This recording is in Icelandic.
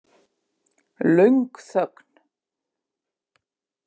Löng þögn.